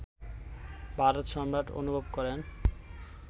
ভারতসম্রাট অনুভব করেন